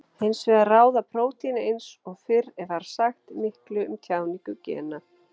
Hins vegar ráða prótín eins og fyrr var sagt miklu um tjáningu gena.